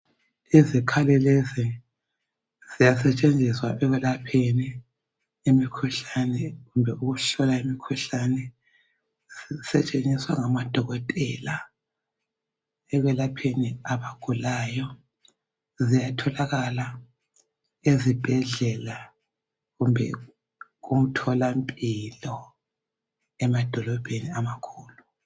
Izikhali lezi ziyasetshenziswa ekwelapheni imikhuhlane kumbe ukuhlola imikhuhlane zisetshenziswa ngamadokotela ekwelapheni abagulayo ziyatholakala ezibhedlela kumbe kumtholampilo emadolobheni amakhulu.